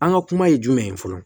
An ka kuma ye jumɛn ye fɔlɔ